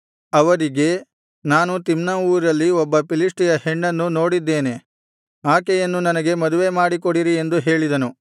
ಅವರಿಗೆ ನಾನು ತಿಮ್ನಾ ಊರಲ್ಲಿ ಒಬ್ಬ ಫಿಲಿಷ್ಟಿಯ ಹೆಣ್ಣನ್ನು ನೋಡಿದ್ದೇನೆ ಆಕೆಯನ್ನು ನನಗೆ ಮದುವೆ ಮಾಡಿಕೊಡಿರಿ ಎಂದು ಹೇಳಿದನು